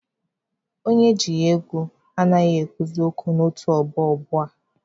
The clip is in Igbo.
Onye ejighi ego anaghịkwa ekwuzi okwu n'otu ọgbọ ugbua.